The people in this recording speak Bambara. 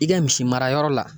I ka misi mara yɔrɔ la.